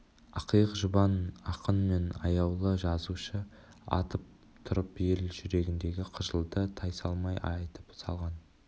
ақиық жұбан ақын мен аяулы жазушы атып тұрып ел жүрегіндегі қыжылды тайсалмай айтып салған